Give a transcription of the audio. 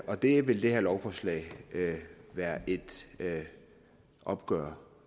og det vil det her lovforslag være et opgør